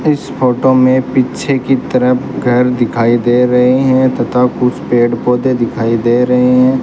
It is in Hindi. इस फोटो में पीछे की तरफ घर दिखाई दे रहे हैं तथा कुछ पेड़ पौधे दिखाई दे रहे हैं।